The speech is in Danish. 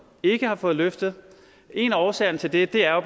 ikke har fået løftet en af årsagerne til det er